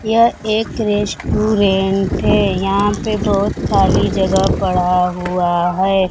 यह एक रेस्टोरेंट है यहां पे बहुत खाली जगह पड़ा हुआ है।